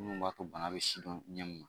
Minnu b'a to bana bɛ sidɔn ɲɛ